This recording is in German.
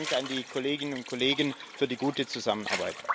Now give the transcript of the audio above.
Herzlichen Dank an die Kolleginnen und Kollegen für die gute Zusammenarbeit!